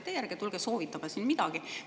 Teie ärge tulge soovitama siin midagi!